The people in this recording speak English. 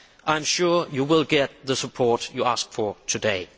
I am sure you will get the support you have asked for today.